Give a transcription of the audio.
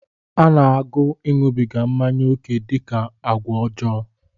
A na-agụ ịṅụbịga mmanya oke dị ka agwa ọjọọ